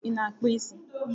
Ị na akpụ isi.